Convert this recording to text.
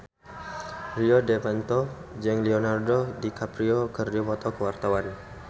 Rio Dewanto jeung Leonardo DiCaprio keur dipoto ku wartawan